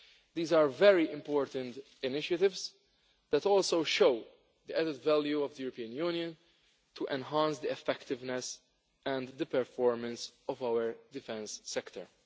These are very important initiatives that also show the added value of the European Union to enhance the effectiveness and the performance of our defence sector.